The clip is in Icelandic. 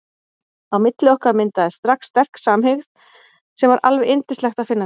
Á milli okkar myndaðist strax sterk samhygð sem var alveg yndislegt að finna fyrir.